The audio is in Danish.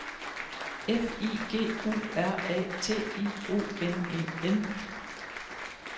F I G U R A T I O N E N